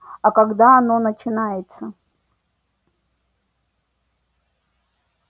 а когда оно начинается